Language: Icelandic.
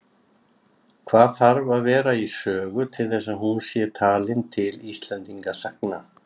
Hvað þarf að vera í sögu til þess að hún sé talin til Íslendingasagna?